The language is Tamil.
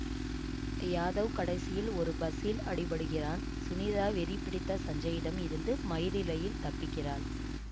யாதவ் கடைசியில் ஒரு பஸ்ஸில் அடிபடுகிறான் சுனிதா வெறி பிடித்த சஞ்சயிடம் இருந்து மயிரிழையில் தப்பிக்கிறாள்